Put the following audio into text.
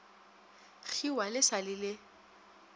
kgiwa le sa le le